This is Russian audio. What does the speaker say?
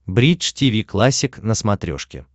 бридж тиви классик на смотрешке